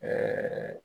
Ɛɛ